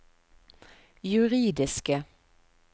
juridiske